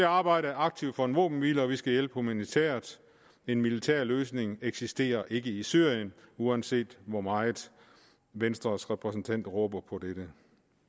arbejde aktivt for en våbenhvile og vi skal hjælpe humanitært en militær løsning eksisterer ikke i syrien uanset hvor meget venstres repræsentant råber på dette